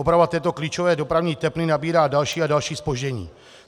Oprava této klíčové dopravní tepny nabírá další a další zpozdění.